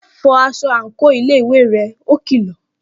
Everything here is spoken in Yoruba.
Fọ aṣọ àǹkóò iléèwé rẹ! Ó kìlọ̀